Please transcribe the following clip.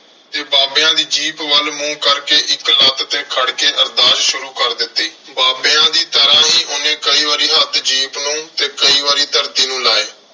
ਤੇ ਬਾਬਿਆਂ ਦੀ ਜੀਪ ਵੱਲ ਮੂੰਹ ਕਰਕੇ ਇੱਕ ਲੱਤ ਤੇ ਖੜ ਕੇ ਅਰਦਾਸ ਸ਼ੁਰੂ ਕਰ ਦਿੱਤੀ। ਬਾਬਿਆਂ ਦੀ ਤਰ੍ਹਾਂ ਹੀ ਉਹਨੇ ਕਈ ਵਾਰੀ ਹੱਥ ਜੀਪ ਨੂੰ ਕਈ ਵਾਰੀ ਧਰਤੀ ਨੂੰ ਲਾਏ।